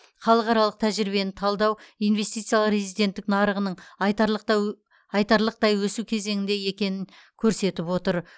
халықаралық тәжірибені талдау инвестициялық резиденттік нарығының айтарлықтай өсу кезеңінде екенін көрсетіп отыр